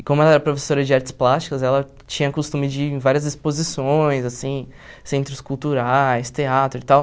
E como ela era professora de artes plásticas, ela tinha o costume de ir em várias exposições, assim, centros culturais, teatro e tal.